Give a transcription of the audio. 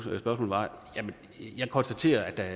jeg konstatere at der er